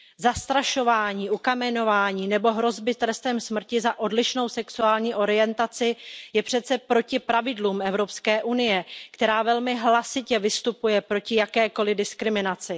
Zastrašování, ukamenování nebo hrozby trestem smrti za odlišnou sexuální orientaci je přece proti pravidlům Evropské unie, která velmi hlasitě vystupuje proti jakékoliv diskriminaci.